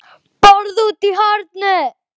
BORÐ ÚTI Í HORNI